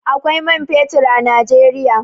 Akwai man fetur a Najeriya.